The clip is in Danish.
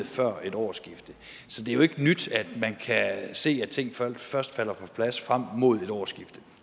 før et årsskifte så det er jo ikke nyt at man kan se at ting først først falder på plads frem mod et årsskifte